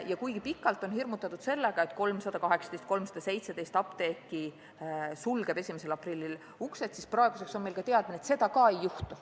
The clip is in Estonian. Ja kuigi pikalt on hirmutatud sellega, et 317 või 318 apteeki sulgeb 1. aprillil uksed, siis praeguseks me teame, et seda ei juhtu.